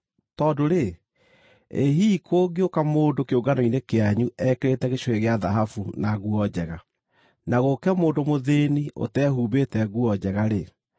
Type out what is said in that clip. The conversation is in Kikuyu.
Tondũ-rĩ, ĩ hihi kũngĩũka mũndũ kĩũngano-inĩ kĩanyu ekĩrĩte gĩcũhĩ gĩa thahabu na nguo njega, na gũũke mũndũ mũthĩĩni ũtehumbĩte nguo njega-rĩ,